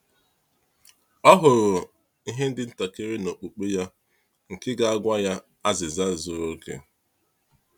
Ọ hụrụ ihe dị ntakịrị n’okpukpe ya nke ga-agwa ya azịza zuru oke.